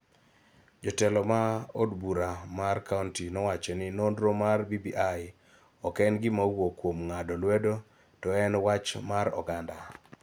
Jotelo ma od bura mar kaonti nowacho ni nonro mar BBI ok en gima owuok kuom ng�ado lwedo to en wach mar oganda.